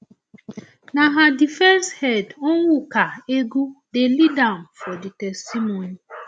na her defence head onwuka egwu dey lead am for di testimony